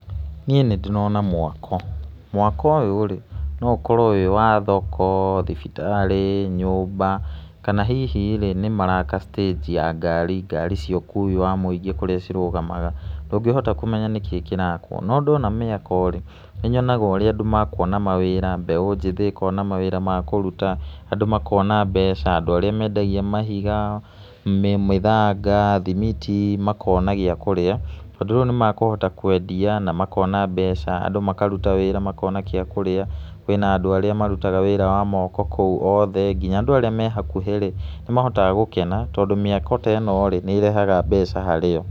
Niĩ nĩ ndĩrona mwako, mwako ũyũ rĩ, no ũkorwo wĩ wa thoko, thibitarĩ, nyũmba kana hihi rĩ, nĩ maraka citĩnji ya ngari, ngari cia ũkui wa mũingĩ kũríĩ cirũgamaga, ndũngĩhota kũmenya nĩkĩ kĩrakwo. No ndona mĩako rĩ nĩ nyonaga ũrĩa andũ mekuona mawĩra, mbeũ njĩthĩ ĩkona mawĩra ma kũruta, andũ makona mbeca, andũ arĩa mendagia mahiga, mĩthanga, thimiti, makona gĩ kũrĩa, tondũ rĩu nĩ mekũhota kũendia na makona mbeca, andũ makaruta wĩra makona gĩa kũrĩa, kũĩna andũ arĩa marutaga wĩra wa moko kũu othe nginya andũ arĩa me hakuhĩ nĩ mahotaga gũkena, tondũ mĩako ta ĩno rĩ nĩ ĩrehaga mbeca harĩ o.